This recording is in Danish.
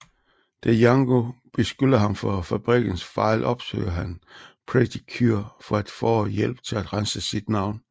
Da Yango beskylder ham for fabrikkens fejl opsøger han Pretty Cure for at få hjælp til at rense sit navn